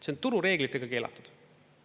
See on turureeglitega keelatud.